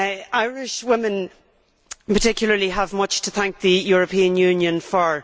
Irish women particularly have much to thank the European Union for.